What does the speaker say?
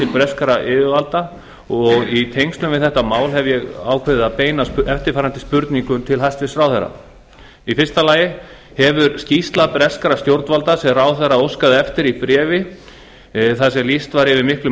breskra yfirvalda og í tengslum við þetta mál hef ég ákveðið að beina eftirfarandi spurningum til hæstvirts ráðherra fyrstu hefur skýrsla breskra stjórnvalda sem ráðherra óskaði eftir í bréfi þar sem lýst var yfir miklum